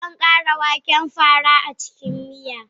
Zan ƙara waken fara a cikin miya.